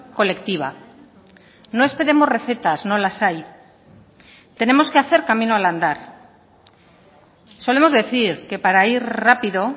colectiva no esperemos recetas no las hay tenemos que hacer camino al andar solemos decir que para ir rápido